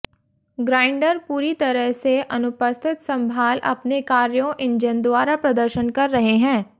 grinder पूरी तरह से अनुपस्थित संभाल अपने कार्यों इंजन द्वारा प्रदर्शन कर रहे है